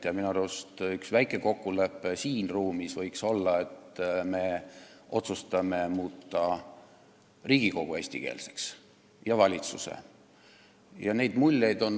Ja minu arust võiks siin ruumis olla väike kokkulepe, et me otsustame muuta Riigikogu ja valitsuse eestikeelseks.